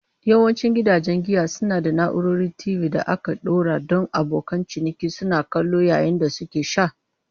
Yawancin gidajen giya suna da na'urorin TV da aka ɗora don abokan ciniki suna kallo yayin da suke sha.